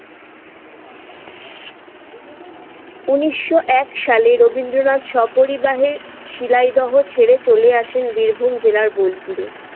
উনিশশো এক সালে রবীন্দ্রনাথ স্বপরিবারে শিলাইদহ ছেড়ে চলে আসেন বীরভূম জেলার বোলপুরে।